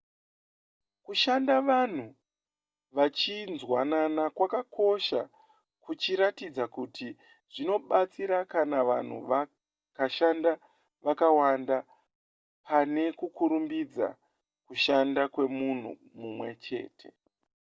kushanda vanhu vachinzwanana kwakakosha kuchiratidza kuti zvinobatsira kana vanhu vakashanda vakawanda pane kurumbidza kushanda kwemunhu mumwe chete